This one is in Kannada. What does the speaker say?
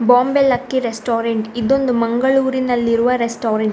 Bombay Lucky restaurant . ಇದೊಂದು ಮಂಗಳೂರಿನಲ್ಲಿರುವ ರೆಸ್ಟೋರೆಂಟ್ .